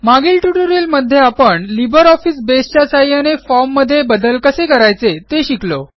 मागील ट्युटोरियलमध्ये आपण लिब्रिऑफिस बसे च्या सहाय्याने फॉर्म मध्ये बदल कसे करायचे ते शिकलो